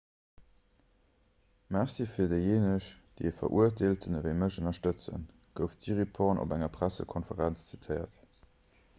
merci fir déijéineg déi e verurteelten ewéi mech ënnerstëtzen gouf d'siriporn op enger pressekonferenz zitéiert